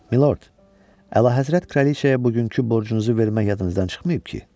Milord, əlahəzrət kraliçaya bugünkü borcunuzu vermək yadınızdan çıxmayıb ki?